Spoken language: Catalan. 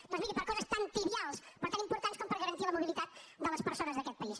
doncs miri per coses tan trivials però tan importants com garantir la mobilitat de les persones d’aquest país